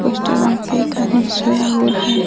poster में एक आदमी सोया हुआ है |